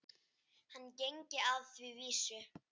Hann gengi að því vísu.